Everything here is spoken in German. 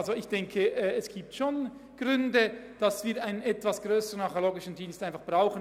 Es gibt Gründe, weshalb wir einen etwas grösseren archäologischen Dienst brauchen.